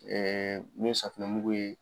n'o ye safinɛ mugu ye.